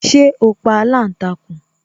Ṣé o pa aláǹtakùn